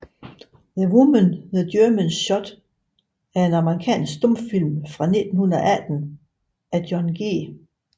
The Woman the Germans Shot er en amerikansk stumfilm fra 1918 af John G